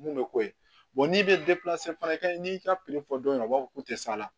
Mun bɛ k'o ye n'i bɛ fana kɛ n'i y'i ka fɔ dɔrɔn u b'a fɔ k'u tɛ s'a la